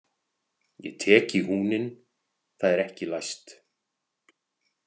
Ég tek í húninn, það er ekki læst.